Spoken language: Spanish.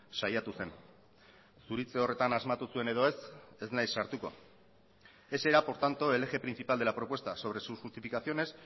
saiatu zen zuritze horretan asmatu zuen edo ez ez naiz sartuko ese era por tanto el eje principal de la propuesta sobre sus justificaciones